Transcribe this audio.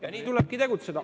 Ja nii tulebki tegutseda.